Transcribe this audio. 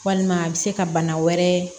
Walima a bɛ se ka bana wɛrɛ